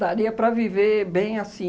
para viver bem assim.